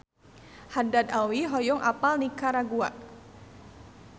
Haddad Alwi hoyong apal Nikaragua